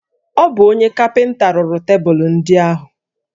Ọ bụ onye kapịnta rụrụ tebụlụ ndị ahụ